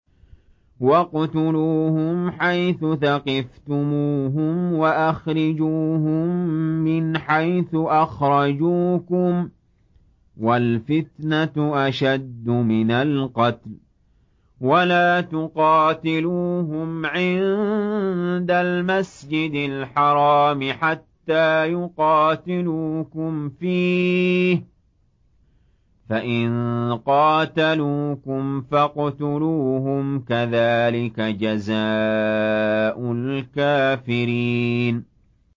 وَاقْتُلُوهُمْ حَيْثُ ثَقِفْتُمُوهُمْ وَأَخْرِجُوهُم مِّنْ حَيْثُ أَخْرَجُوكُمْ ۚ وَالْفِتْنَةُ أَشَدُّ مِنَ الْقَتْلِ ۚ وَلَا تُقَاتِلُوهُمْ عِندَ الْمَسْجِدِ الْحَرَامِ حَتَّىٰ يُقَاتِلُوكُمْ فِيهِ ۖ فَإِن قَاتَلُوكُمْ فَاقْتُلُوهُمْ ۗ كَذَٰلِكَ جَزَاءُ الْكَافِرِينَ